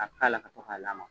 A ka k'a la ka to ka lamaka